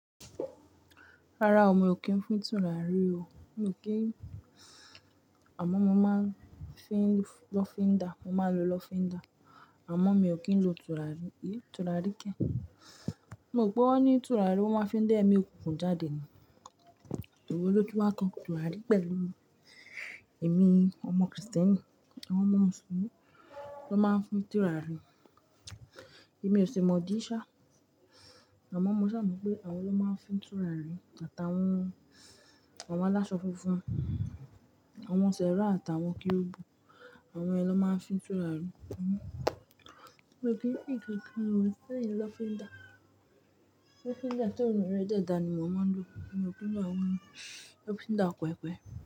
Rárá o, mi ò kí ń fún tùràrí o. Mi ò kí, àmọ́ mo máa ń fín lọ́fíndà, mo máa ń lo lọ́fíndà, àmọ́ mi ò kí ń lo tùràrí. Èyí tùràrí kẹ. Mo rò pé wọ́n ní tùràrí wọ́n máa ń fi lé ẹ̀mí òkùnkùn jáde ni. Òwe lótùn wà kan tùràrí pẹ̀lú èmi, ọmọ Kristẹni. Àwọn ọmọ Mùsùlùmí ló máa ń fún tùràrí. Èmi ò ṣe mọ dí ṣá, àmọ́ mo ṣà mọ̀ pé àwọn ló máa ń fún tùràrí àti àwọn àwọn aláṣọ funfun, àwọn Sẹrá àti àwọn Kerubu. Àwọn yẹn ló máa ń fún tùràrí. Mi ò kí ń fín ǹkankán o, lẹ́yìn lọ́fíndà. Lọ́fíndà tí òórùnrẹ dè dà ni ó mo máa ń lo. Mi ò kí ńlo àwọn lọ́fíndà kuekue.